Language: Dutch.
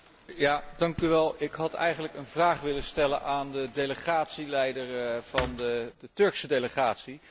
Ik had eigenlijk een vraag willen stellen aan de delegatieleider van de Turkse delegatie, mevrouw Flautre.